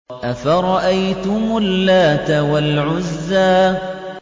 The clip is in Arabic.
أَفَرَأَيْتُمُ اللَّاتَ وَالْعُزَّىٰ